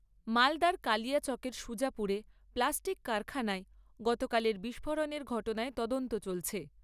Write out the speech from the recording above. মালদার কালিয়াচকের সুজাপুরে প্লাস্টিক কারখানায় গতকালের বিস্ফোরণের ঘটনায় তদন্ত চলছে।